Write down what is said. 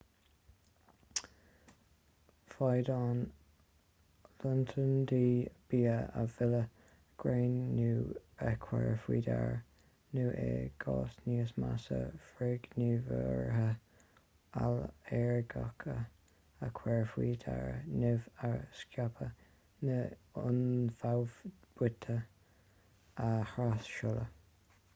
féadann lotnaidí bia a mhilleadh greannú a chur faoi deara nó i gcás níos measa frithghníomhartha ailléirgeacha a chur faoi deara nimh a scaipeadh nó ionfhabhtuithe a thras-seoladh